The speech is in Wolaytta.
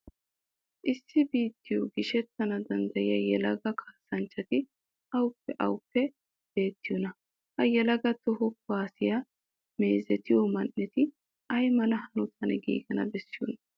Issi biittiyo gishshatana danddayiya yelaga kaassanchchati awappe awappe beettiyonaa? Ha yelagati toho kuwaasiya meezetiyo man"eti ay mala hanotan giigana bessiyonaa?